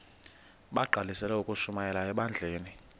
bagqalisele ukushumayela ebandleni